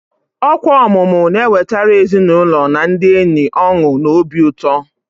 Ọkwa ọmụmụ na-ewetara ezinụlọ na ndị enyi ọṅụ na obi ụtọ.